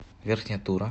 верхняя тура